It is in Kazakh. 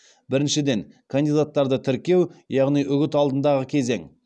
біріншіден кандидаттарды тіркеу яғни үгіт алдындағы кезең